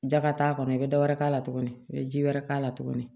Ja ka t'a kɔnɔ bɛ dɔ wɛrɛ k'a la tuguni i bɛ ji wɛrɛ k'a la tuguni